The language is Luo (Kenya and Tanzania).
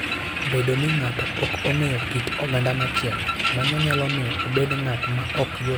Bedo ni ng'ato ok ong'eyo kit oganda machielo, mano nyalo miyo obed ng'at maok yot wuoyogo.